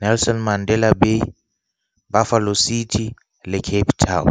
Nelson Mandela Bay Buffalo City le Cape Town.